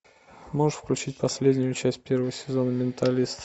можешь включить последнюю часть первого сезона менталист